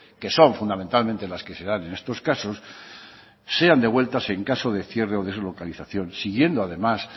que son fundamentalmente las que se dan en estos casos sean devueltas en caso de cierre o deslocalización siguiendo además